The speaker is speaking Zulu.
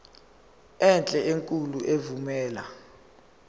enhle enkulu evumela